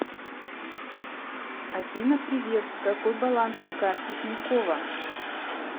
афина привет какой баланс на карте тинькова